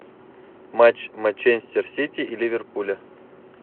матч манчестер сити и ливерпуля